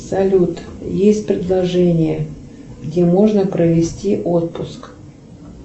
салют есть предложения где можно провести отпуск